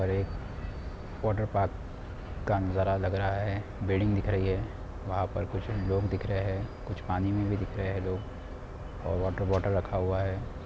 और एक वॉटरपार्क का नजारा लग रहा हैं। बिल्डिंग दिख रही हैं। वहाँ पर कुछ लोग दिख रहे हैं। कुछ पानी मे भी दिख रहे हैं लोग और वॉटर बॉटल रखा हुआ हैं।